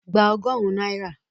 Gba ọgọ́rùn-ún náírà!